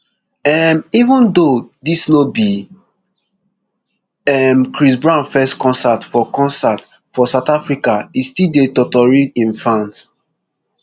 um even though dis no be um chris brown first concert for concert for south africa e still dey totori im fans